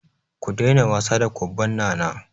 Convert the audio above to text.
Ku daina wasa da kwabban Nana!